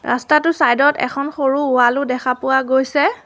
ৰাস্তা টোৰ চাইড ত এখন সৰু ৱাল ও দেখা পোৱা গৈছে।